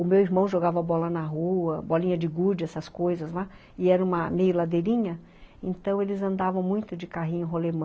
O meu irmão jogava bola na rua, bolinha de gude, essas coisas lá, e era uma meia ladeirinha, então eles andavam muito de carrinho rolemã.